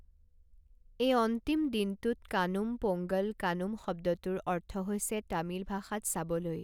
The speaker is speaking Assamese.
এই অন্তিম দিনটোত, কানুম পোংগল কানুম শব্দটোৰ অৰ্থ হৈছে তামিল ভাষাত চাবলৈ।